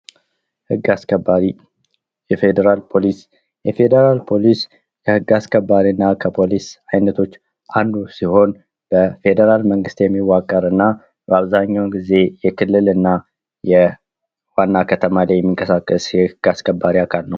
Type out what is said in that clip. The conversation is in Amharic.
ህግ አስከባሪ የፌደራል ፖሊስ:- የፌዴራል ፖሊስ ከህግ አስከባሪና ከፖሊስ አይነቶች አንዱ ሲሆን በመንግስት የሚዋቀርና በአብዛኛው ጊዜ የክልልና የዋና ከተማ ላይ የሚንቀሳቀስ የህግ አስከባሪ ነው።